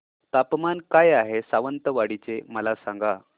तापमान काय आहे सावंतवाडी चे मला सांगा